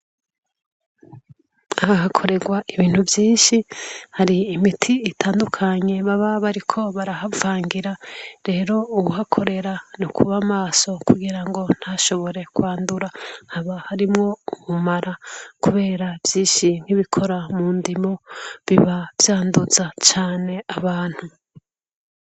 Aha hakorerwa ibintu vyinshi, hari imiti itandukanye baba bariko barahavangira. Rero uhakorera n’ukuba maso kugirango ntashobore kwandura. Haba harimwo ubumara kubera vyinshi nkibikora mundimo biba vyanduza cane abantu.